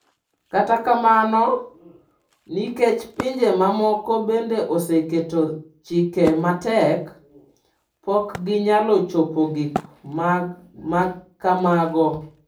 Kata kamano, nikech pinje mamoko bende oseketo chike matek, pok ginyalo chopo gik ma kamago.